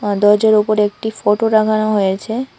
আর দরজার উপরে একটি ফটো টাঙানো হয়েছে।